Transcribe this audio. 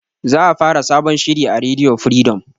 Za a fara sabon shiri a rediyo firidom